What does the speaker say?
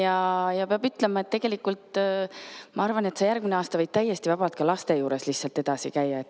Aga pean ütlema, et tegelikult ma arvan, et järgmine aasta sa võid täiesti vabalt laste juures lihtsalt edasi käia.